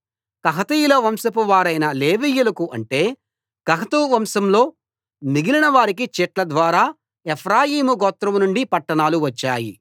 కహాతీయుల వంశపువారైన లేవీయులకు అంటే కహాతు వంశాల్లో మిగిలినవారికి చీట్ల ద్వారా ఎఫ్రాయిం గోత్రం నుండి పట్టణాలు వచ్చాయి